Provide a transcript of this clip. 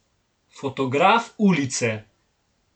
Fotograf ulice.